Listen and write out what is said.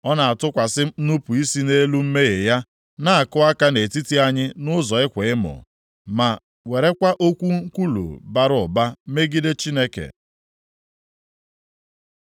Ọ na-atụkwasị nnupu isi nʼelu mmehie ya; na-akụ aka nʼetiti anyị nʼụzọ ịkwa emo, ma werekwa okwu nkwulu bara ụba megide Chineke.”